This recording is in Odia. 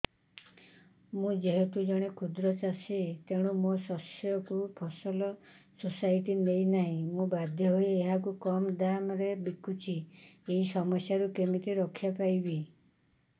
ମୁଁ ଯେହେତୁ ଜଣେ କ୍ଷୁଦ୍ର ଚାଷୀ ତେଣୁ ମୋ ଶସ୍ୟକୁ ଫସଲ ସୋସାଇଟି ନେଉ ନାହିଁ ମୁ ବାଧ୍ୟ ହୋଇ ଏହାକୁ କମ୍ ଦାମ୍ ରେ ବିକୁଛି ଏହି ସମସ୍ୟାରୁ କେମିତି ରକ୍ଷାପାଇ ପାରିବି